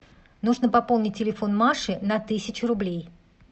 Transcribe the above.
нужно пополнить телефон маши на тысячу рублей